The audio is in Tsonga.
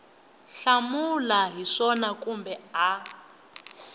hlamula hi swona kumbe a